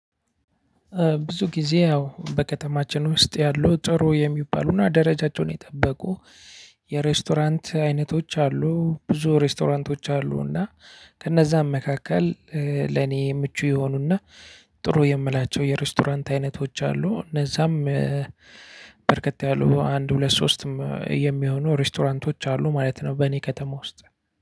ብዙ ጊዜ ያው በከተማችን ውስጥ ያሉ ጥሩ የሚባሉና ደረጃቸውን የጠበቁ የሬስቶራንት አይነቶች አሉ። ብዙ ሬስቶራንቶች አሉ። እና ከእነዛም መካከል ለኔ ምቹ የሆኑና ጥሩ የምላቸው የሬስቶራንት አይነቶች አሉ። እነዛም በርከት ያሉ አንድ ሁለት ሶስትም የሚሆኑ ሬስቶራንቶች አሉ። ማለት ነው በእኔ ከተማ ውስጥ